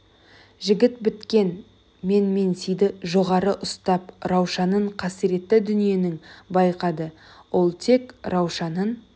жігіт біткен менменсиді жоғары ұстап раушанын қасіретті дүниенің байқады ол тек раушанын